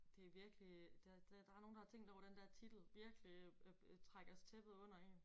Det virkelig der det der er nogen der har tænkt over den der titel virkelig øh trækker tæppet under én